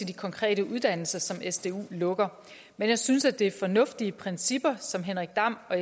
de konkrete uddannelser som sdu lukker men jeg synes det er fornuftige principper henrik dam og